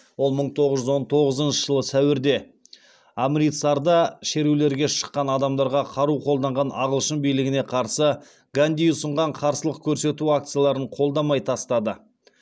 ол мың тоғыз жүз он тоғызыншы жылы сәуірде амритсарда шерулерге шыққан адамдарға қару қолданған ағылшын билігіне қарсы ганди ұсынған қарсылық көрсету акцияларын қолдамай тастады